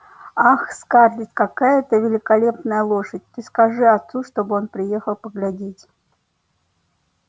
ах скарлетт какая это великолепная лошадь ты скажи отцу чтобы он приехал поглядеть